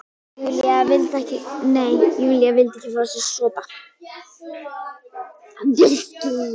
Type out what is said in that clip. Nei, Júlía vildi ekki fá sér sopa.